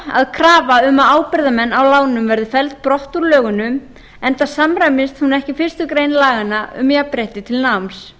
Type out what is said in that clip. að krafa um ábyrgðarmenn að lánum verði felld brott úr lögunum enda samræmist hún ekki fyrstu grein laganna um jafnrétti til náms